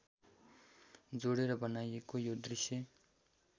जोडेर बनाइएको यो दृश्य